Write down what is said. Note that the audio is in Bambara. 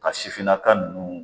Ka sifinnaka ninnu